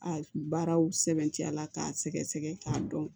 A baaraw sɛbɛntiya la k'a sɛgɛsɛgɛ k'a dɔn